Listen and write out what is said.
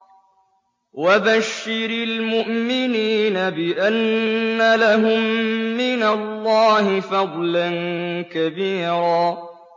وَبَشِّرِ الْمُؤْمِنِينَ بِأَنَّ لَهُم مِّنَ اللَّهِ فَضْلًا كَبِيرًا